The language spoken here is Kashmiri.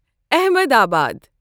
احمدآباد